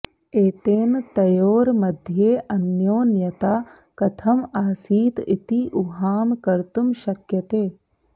एतेन तयोर्मध्ये अन्योन्यता कथम् आसीत् इति ऊहां कर्तुं शक्यते